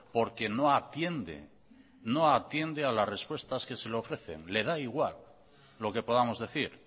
porque no atiende no atiende a las respuestas que se le ofrecen le da igual lo que podamos decir